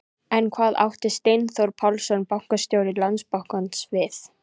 En hvað átti Steinþór Pálsson, bankastjóri Landsbankans við?